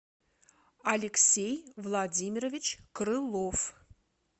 алексей владимирович крылов